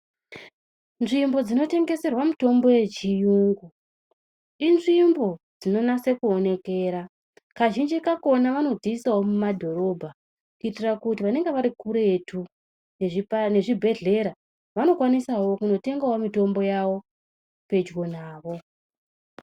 Nzvimbo dzinotengeserwa mitombo yechiyungu inzvimbo dzinonase kuonekera kazhinji kakhona vanodziisawo mumadhorobha kuitira kuti vanonga varikuretu nezvibhedhlera vanokwanisa kundotengawo mitombo yavo pedyo navo.